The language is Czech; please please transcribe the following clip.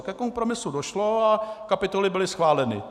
A ke kompromisu došlo a kapitoly byly schváleny.